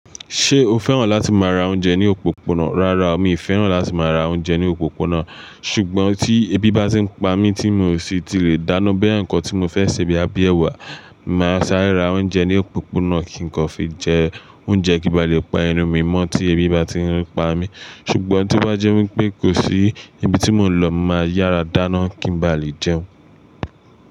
Ṣé o fẹ́ràn láti máa ra oúnjẹ ní òpópónà? Rárá, mi i fẹ́ràn láti máa ra oúnjẹ ní òpópónà. Ṣùgbọ́n tí ebi bá ti ń pa mí tí mi ò sí ti lè dáná bóyá nǹkan tí mo fẹ́ sè bóyá bíi èwà, mo màá sáré ra oúnjẹ ní òpópónà kí nǹkan fi jẹ oúnjẹ kí ba lè pa ẹnu mi mọ́ tí ebi bá ti ń pa mí. Ṣùgbọ́n tí o bá jẹ́ wí pé kò sí ibi tí mò ń lọ, mo màá yára dáná kí n ba lè jẹun.